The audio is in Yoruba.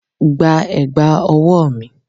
Gba ẹ̀gbà ọwọ́ mi!